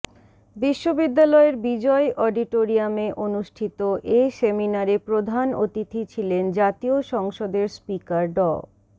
বিশ্ববিদ্যালয়ের বিজয় অডিটরিয়ামে অনুষ্ঠিত এ সেমিনারে প্রধান অতিথি ছিলেন জাতীয় সংসদের স্পিকার ড